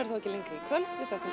ekki lengri í kvöld við þökkum